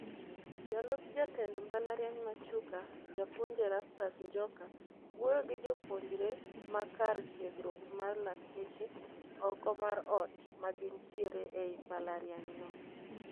Jalup jatend mbalariany ma Chuka Japuonj Erastus Njoka wuoyo gi jopuonjre ma kar tiegruok mar lakteche oko mar ot ma gintiere ei mbalariany no